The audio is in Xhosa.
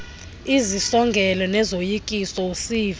izisongelo nezoyikiso usiva